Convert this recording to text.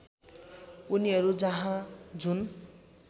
उनीहरू जहाँ जुन